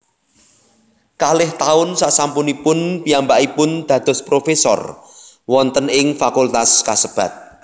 Kalih taun sasampunipun piyambakipun dados profesor wonten ing fakultas kasebat